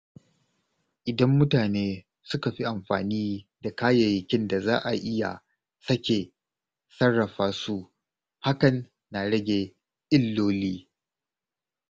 Idan mutane suka fi amfani da kayayyakin da za a iya sake sarrafa su, hakan na rage illoli.